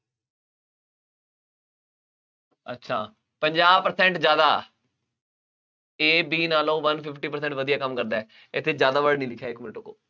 ਅੱਛਾ, ਪੰਜਾਹ percent ਜ਼ਿਆਦਾ, A, B ਨਾਲੋ one fifty percent ਵਧੀਆ ਕੰਮ ਕਰਦਾ ਹੈ। ਇੱਥੇ ਜ਼ਿਆਦਾ word ਨਹੀਂ ਲਿਖਿਆ, ਇੱਕ ਮਿੰਟ ਰੁਕੋ।